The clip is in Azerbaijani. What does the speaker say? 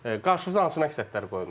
Qarşınıza hansı məqsədlər qoyulmuşdu?